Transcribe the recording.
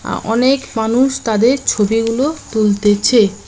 আ অনেক মানুষ তাঁদের ছবিগুলো তুলতেছে।